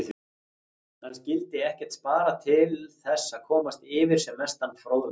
Hann skyldi ekkert spara til þess að komast yfir sem mestan fróðleik.